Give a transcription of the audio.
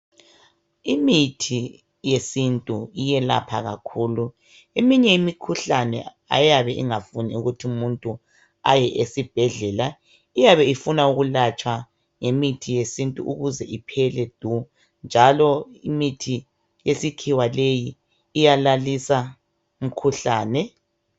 Imithi yesintu iyelapha kakhulu. Eminye imikhuhlane ayabe ingafuni ukuthi umuntu aye esibhedlela. Iyabe ifuna ukulatshwa ngemithi yesintu ukuze iphele du njalo imithi yesikhiwa leyi iyalalisa umkhuhlane